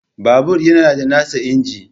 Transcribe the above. Babur yana da nasa injin